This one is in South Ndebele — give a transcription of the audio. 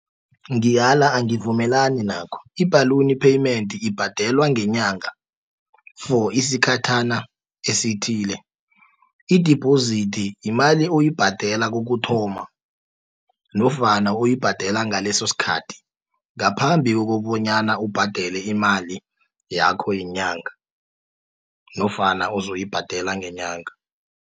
Ngiyala angivumelani nakho, i-balloon payment, ibhadelwa ngenyanga for isikhathana esithile. Idibhozithi yimali oyibhadela kokuthoma, nofana uyibhadela ngaleso sikhathi, ngaphambi kokobonyana ubhadele imali yakho yenyanga, nofana ozoyibhadela ngenyanga.